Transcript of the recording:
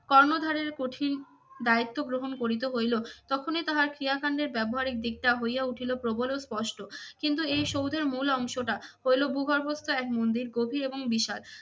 কর্ণধারের কঠিন দায়িত্ব গ্রহণ করিতে হইল তখনই তাহার ক্রিয়াকাণ্ডের ব্যবহারিক দিকটা হইয়া উঠিল প্রবল ও স্পষ্ট। কিন্তু এই সৌধের মূল অংশটা হইলো ভূগর্ভস্থ এক মন্দির গভীর এবং বিষাদ।